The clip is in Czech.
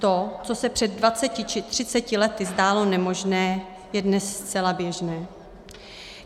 To, co se před 20 či 30 lety zdálo nemožné, je dnes zcela běžné.